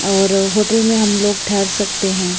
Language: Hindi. और होटल में हमलोग ठहर सकते हैं।